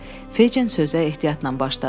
Feycin sözə ehtiyatla başladı.